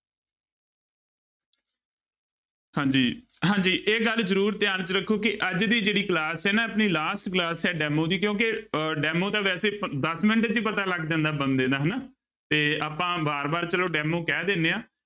ਹਾਂਜੀ ਹਾਂਜੀ ਇਹ ਗੱਲ ਜ਼ਰੂਰ ਧਿਆਨ ਚ ਰੱਖੋ ਕਿ ਅੱਜ ਦੀ ਜਿਹੜੀ class ਹੈ ਨਾ ਆਪਣੀ last class ਹੈ demo ਦੀ ਕਿਉਂਕਿ ਅਹ demo ਤਾਂ ਵੈਸੇ ਦਸ ਮਿੰਟ ਚ ਹੀ ਪਤਾ ਲੱਗ ਜਾਂਦਾ ਬੰਦੇ ਦਾ ਹਨਾ, ਤੇ ਆਪਾਂ ਵਾਰ ਵਾਰ ਚਲੋ demo ਕਹਿ ਦਿੰਦੇ ਹਾਂ